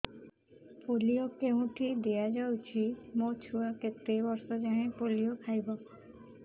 polio କେଉଁଠି ଦିଆଯାଉଛି ମୋ ଛୁଆ କେତେ ବର୍ଷ ଯାଏଁ ପୋଲିଓ ଖାଇବ